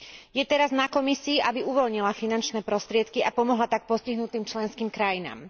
Je teraz na Komisii, aby uvoľnila finančné prostriedky a pomohla tak postihnutým členským krajinám.